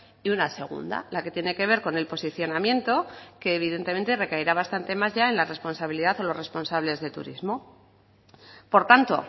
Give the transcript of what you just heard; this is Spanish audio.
y una segunda la que tiene que ver con el posicionamiento que evidentemente recaerá bastante más ya en la responsabilidad o los responsables de turismo por tanto